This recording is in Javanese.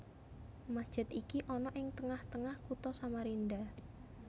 Masjid iki ana ing tengah tengah Kutha Samarinda